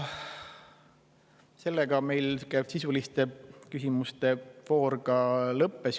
Sellega meil sisuliste küsimuste voor lõppes.